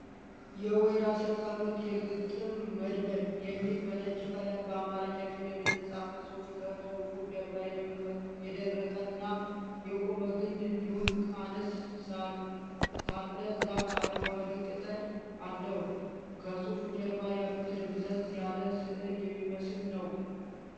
"የወይራ ስር ጸሎት የግጥም መድብል " የሚል በነጭ ቀለም በአማረኛ ፊደል የተፃፈ ፅሁፍ ከፅሁፉ ጀርባ የደረቀና የቆመ ግንድ እንዲሁም አነስ ሳለ ዛፍ አረንጓዴ ቅጠል አለዉ። ከፅሁፉ ጀርባ ያሉት ደብዘዝ ያለ ስዕል የሚመስል ነዉ።